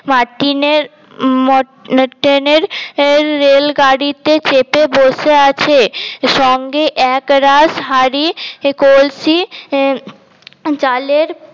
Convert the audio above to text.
মাটিনের মটনের রেলগাড়িতে চেপে বসে আছে সঙ্গে এক রাস হাড়ি কলসি চালের